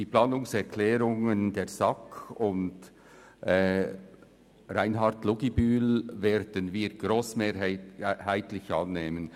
Die Planungserklärungen SAK und Luginbühl/Reinhard werden wir grossmehrheitlich annehmen.